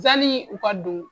Yanni u ka don